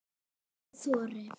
Ef ég þori.